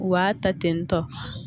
U b'a ta ten tɔ